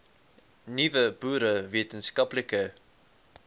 nuwe boere wetenskaplike